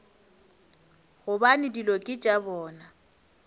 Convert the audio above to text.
gobane dilo ke tša bona